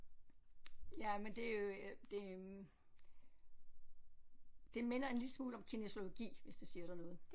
Ja men det øh det det minder en lille smule om kinesiologi hvis det siger dig noget